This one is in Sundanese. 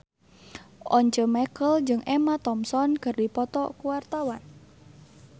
Once Mekel jeung Emma Thompson keur dipoto ku wartawan